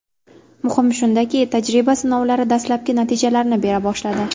Muhimi shundaki, tajriba sinovlari dastlabki natijalarini bera boshladi.